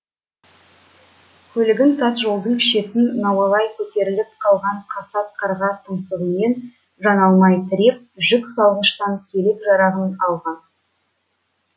көлігін тас жолдың шетін науалай көтеріліп қалған қасат қарға тұмсығымен тіреп жүк салғыштан керек жарағын алған